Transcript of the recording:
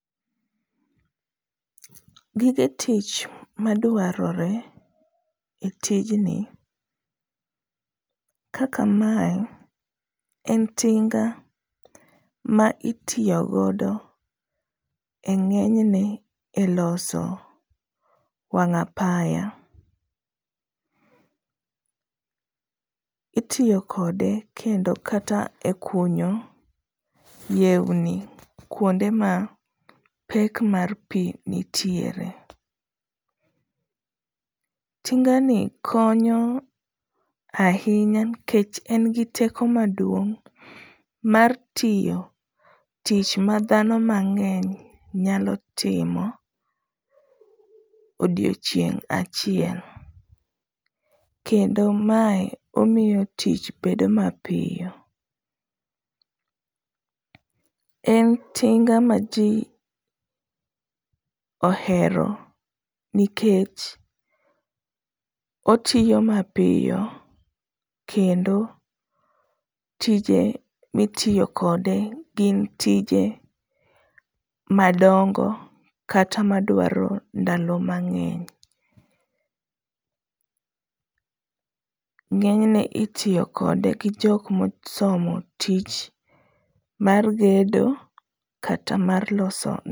Gige tich madwarore e tijni, kaka mae, en tinga ma itiyo godo e ngényne e loso wang'apaya. Itiyo kode kendo kata e kunyo yewni kuonde ma pek mar pi nitiere. Tinga ni konyo ahinya nikech en gi teko maduong' mar tiyo tich ma dhano mangény nyalo tiyo e odiechieng' achiel. Kendo mae omiyo tich bedo mapiyo. En tinga ma ji ohero nikech otiyo mapiyo, kendo tije mitiyo kode, gin tije madongo, kata madwaro ndalo mangeny. Ngényne itiyo kode gi jok ma osomo tich mar gedo kata mar loso